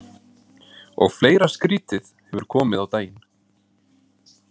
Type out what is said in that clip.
Og fleira skrítið hefur komið á daginn.